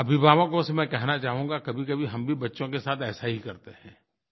अभिभावकों से मैं कहना चाहूँगा कभीकभी हम भी बच्चों के साथ ऐसा ही करते हैं